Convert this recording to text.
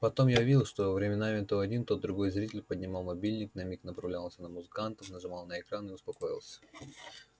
потом я увидел что временами то один то другой зритель поднимал мобильник на миг направлял на музыкантов нажимал на экран и успокоился